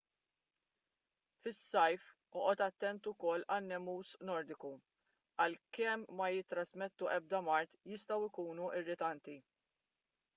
fis-sajf oqgħod attent ukoll għan-nemus nordiku għalkemm ma jittrażmettu ebda mard jistgħu jkunu irritanti